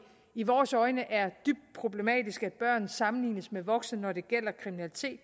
i vores øjne er dybt problematisk at børn sammenlignes med voksne når det gælder kriminalitet